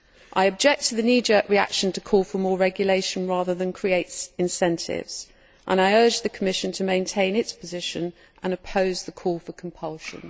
I object to the knee jerk reaction to call for more regulation rather than create incentives and I urge the Commission to maintain its position and oppose the call for compulsion.